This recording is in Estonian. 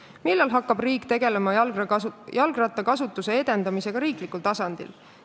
Millal hakkab riik tegelema jalgrattakasutuse edendamisega riiklikul tasandil?